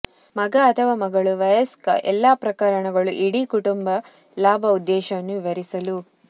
ಮಗ ಅಥವಾ ಮಗಳು ವಯಸ್ಕ ಎಲ್ಲಾ ಪ್ರಕರಣಗಳು ಇಡೀ ಕುಟುಂಬ ಲಾಭ ಉದ್ದೇಶವನ್ನು ವಿವರಿಸಲು